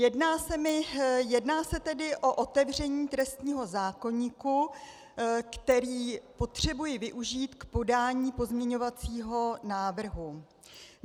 Jedná se tedy o otevření trestního zákoníku, který potřebuji využít k podání pozměňovacího návrhu.